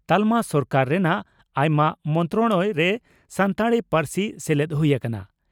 ᱛᱟᱞᱢᱟ ᱥᱚᱨᱠᱟ ᱨᱮᱱᱟᱜ ᱟᱭᱢᱟ ᱢᱚᱱᱛᱨᱟᱲᱚᱭᱚ ᱨᱮ ᱥᱟᱱᱛᱟᱲᱤ ᱯᱟᱹᱨᱥᱤ ᱥᱮᱞᱮᱫ ᱦᱩᱭ ᱟᱠᱟᱱᱟ ᱾